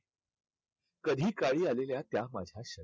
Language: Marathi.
कधी काळी आलेल्या त्या माझ्या